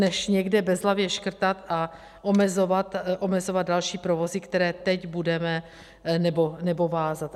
Než někde bezhlavě škrtat a omezovat další provozy, které teď budeme... nebo vázat.